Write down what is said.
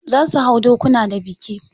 Za su hau dokuna da biki.